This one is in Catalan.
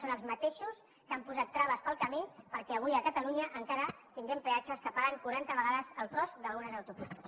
són els mateixos que han posat traves pel camí perquè avui a catalunya encara tinguem peatges que paguen quaranta vegades el cost d’algunes autopistes